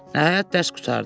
Nəhayət dərs qurtardı.